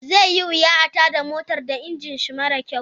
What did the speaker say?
Zai yi wuya a tada motar da iginisho mara kyau.